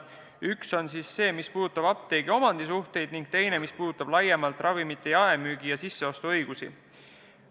Üks puudutab apteegi omandisuhteid ja teine laiemalt ravimite jaemüügi ja sisseostu õigusi.